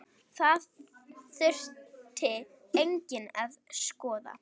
Það þurfi einnig að skoða.